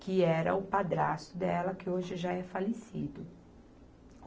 que era o padrasto dela, que hoje já é falecido.